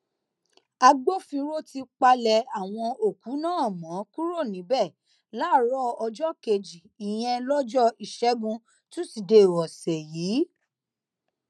agbófinró ti palẹ àwọn òkú náà mọ kúrò níbẹ láàárọ ọjọ kejì ìyẹn lọjọ ìṣẹgun tusidee ọsẹ yìí